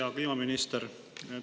Hea kliimaminister!